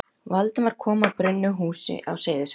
Valdimar kom að brunnu húsi á Seyðisfirði.